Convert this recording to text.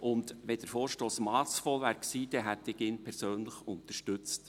Wenn der Vorstoss massvoll gewesen wäre, hätte ich ihn persönlich unterstützt.